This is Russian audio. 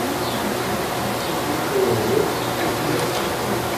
ооо сити мед